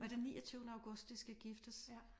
Og det er niogtyvende august de skal giftes